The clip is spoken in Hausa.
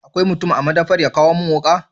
Akwai mutum a madafar ya kawo mun wuka?